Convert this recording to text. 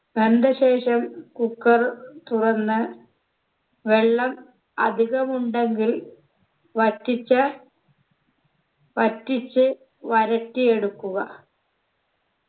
വെന്ത ശേഷം cooker തുറന്ന് വെള്ളം അധികമുണ്ടെങ്കിൽ വറ്റിച്ച് വറ്റിച്ച് വരട്ടിയെടുക്കുക